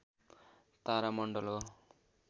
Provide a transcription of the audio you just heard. तारा मण्डल हो